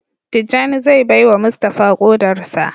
Tijjani zai baiwa Mustapha kodar sa.